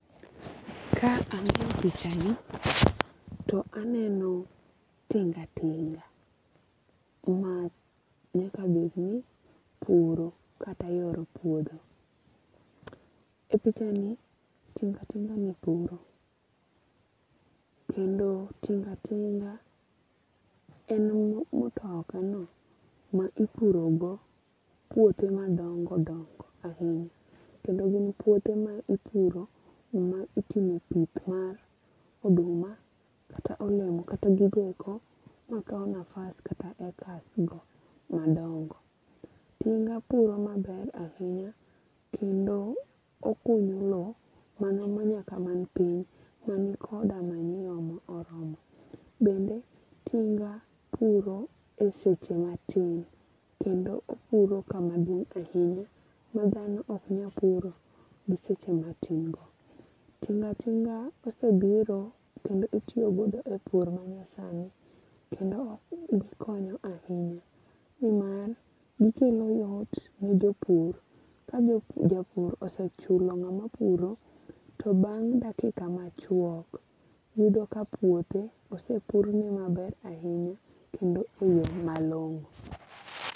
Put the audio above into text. Ka ang'iyo pichani to aneno tingatinga manyaka bed ni puro kata yoro puodho. E pichani tingatinga ni puro. Kendo tingatinga en mtoka no ma ipuro go puothe madongo dongo ahinya. Kendo gin puothe ma ipuro ma itime pith mar oduma kata olemo kata giko eko ma kawo nafas kata acres go madongo. Tinga puro maber ahinya kendo okunyo low manumu nyaka man piny man koda manyiwa ma oromo. Bende tinga puro e seche matin. Kendo opuro kama duong' ahinya ma dhano ok nyal puro gi seche matin go. Tingatinga osebiro kendo itiyogodo e pur manyasani kendo okonyO ahinya. Nimar gikelo yot ne jopiur ka japur osechula ng'ama puro to bang' dakika machuok yudo ka puothe osepur ne maber ahinya kendo e yo malongo'.